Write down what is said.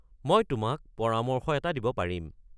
মই তোমাক পৰামৰ্শ এটা দিব পাৰিম।